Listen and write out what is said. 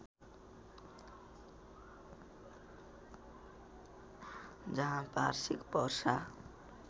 जहाँ वार्षिक वर्षा